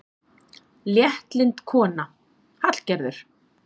Léttlynd kona, Hallgerður.